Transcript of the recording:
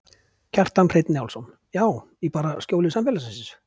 Kjartan Hreinn Njálsson: Já, í bara skjóli samfélagsins?